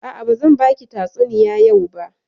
A'a, bazan baki tatsuniya yau ba.